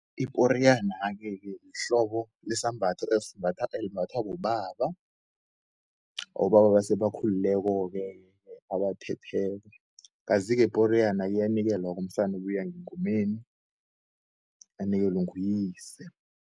Iporiyana-ke ke yihlobo lesambatho elimbathwa bobaba, abobaba abesebakhulileko-ke, abathetheko. Kazi-ke iporiyana iyanikelwa-ke umsana ubuya ngengomeni anikelwe nguyise.